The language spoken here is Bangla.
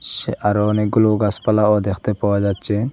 সি্ আরও অনেকগুলো গাসপালাও দেখতে পাওয়া যাচ্ছে।